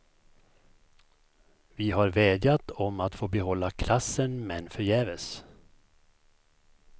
Vi har vädjat om att få behålla klassen men förgäves.